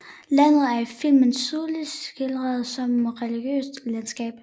Landet er i filmen tydeligt skildret som et religiøst landskab